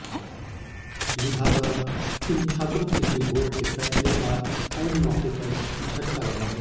लिहाजा इन छात्रांे के लिए बोर्ड के फैसले का ऐन मौके पर झटका लगा है